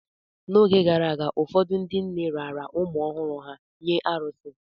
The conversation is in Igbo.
N’oge gara aga, ụfọdụ ndị nne raara ụmụ ọhụrụ ha nye arụsị